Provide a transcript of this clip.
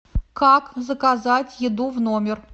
как заказать еду в номер